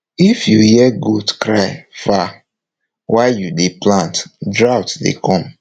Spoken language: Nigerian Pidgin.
if you hear goat cry far while you dey plant drought dey come